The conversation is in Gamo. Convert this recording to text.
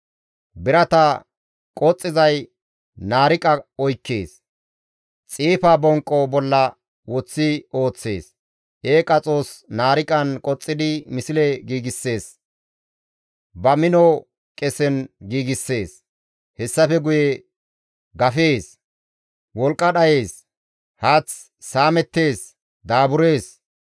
Birata qoxxizay naariqa oykkees; xiifa bonqqo bolla woththi ooththees; eeqa xoos naariqan qoxxidi misle giigssees; ba mino qesen giigssees. Hessafe guye gafees; wolqqa dhayees; haath saamettees; daaburees.